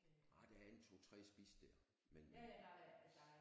Ej der er en 2 3 spisesteder men men